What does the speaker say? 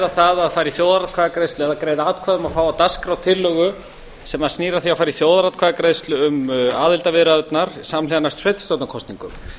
það að fara í þjóðaratkvæðagreiðslu eða greiða atkvæði um að fá á dagskrá tillögu sem snýr að því að fara í þjóðaratkvæðagreiðslu um aðildarviðræðurnar samhliða næstu sveitarstjórnarkosningum